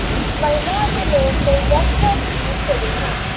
ਮਹਿਲਾ ਅਤੇ ਲੋਕ ਕਈ ਵੱਖ ਵੱਖ ਜੀਵ ਘੜੀ ਹੈ